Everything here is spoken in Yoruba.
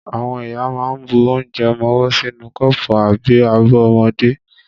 Àwọn ìyá ma ń bu onje ọmọwọ́ sínú kọ́pù àbí abọ́ ọmọdé.